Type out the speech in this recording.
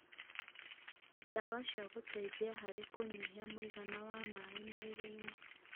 ndawa cia gũteithia harĩ kũnyihia mũigana wa maĩ mwĩrĩ-inĩ